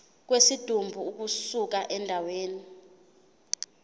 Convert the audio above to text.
kwesidumbu ukusuka endaweni